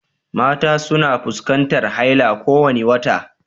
Mata suna fuskantar haila kowane wata